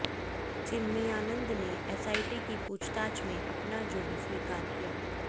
चिन्मयानंद ने एसआईटी की पूछताछ में अपना जुर्म स्वीकार किया